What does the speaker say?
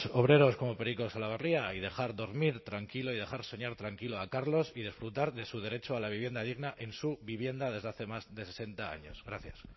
obreros como periko salaberria y dejar dormir tranquilo y dejar soñar tranquilo a carlos y disfrutar de su derecho a la vivienda digna en su vivienda desde hace más de sesenta años gracias